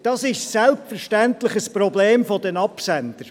Das ist selbstverständlich ein Problem der Absender.